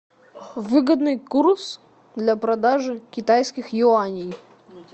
выгодный курс для продажи китайских юаней